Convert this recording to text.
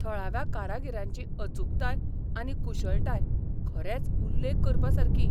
थळाव्या कारागिरांची अचूकताय आनी कुशळटाय खरेंच उल्लेख करपासारकी.